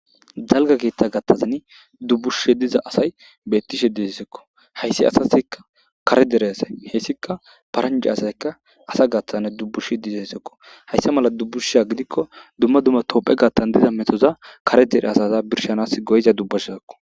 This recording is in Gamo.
Dalga keetta gattazan dubbushshe diza asay bettishe disessekko hayssi asasikka kare dere asay heessikka paranje asayka asa gattazne dubbush diza essekko hayssa mala dubbushsha gidikko dumma dumma topphe gattan diza metoza kare dere asaza birshanas goyiza dubbashazeko.